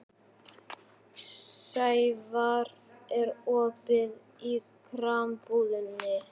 Sævarr, er opið í Krambúðinni?